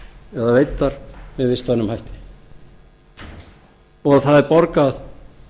eru veiddar með vistvænum hætti og það er borgað